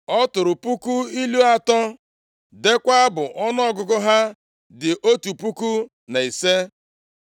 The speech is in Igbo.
Ọ tụrụ puku ilu atọ, deekwa abụ ọnụọgụgụ ha dị otu puku na ise.